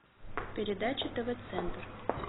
передача тв центр